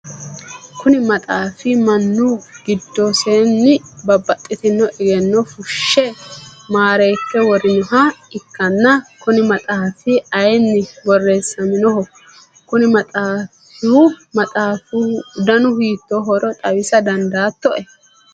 kuni maxaafi mannu giddosinni babbaxitino egenno fushshe maareekke worinoha ikkanna kuni maxaafi ayeenni borreessaminoho? konni maxaafihu danu hiittoohoro xawisa dandaatto?